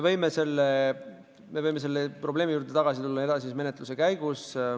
Me võime selle probleemi juurde tagasi tulla edasise menetluse käigus.